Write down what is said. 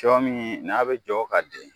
Sɔ min n'a be jɔ ka den